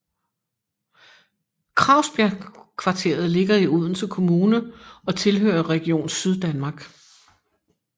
Kragsbjergkvateret ligger i Odense Kommune og tilhører Region Syddanmark